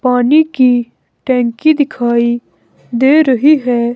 पानी की टंकी दिखाई दे रही है।